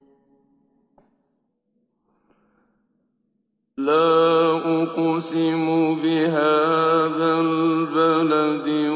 لَا أُقْسِمُ بِهَٰذَا الْبَلَدِ